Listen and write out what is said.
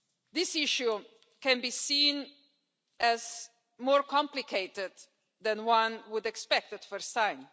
This issue can be seen as more complicated than one would expect at first sight.